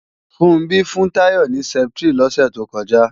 Funbí fún Táyọ̀ ní Strepsil lọ́sẹ̀ tó kọjá